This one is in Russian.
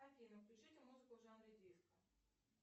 афина включите музыку в жанре диско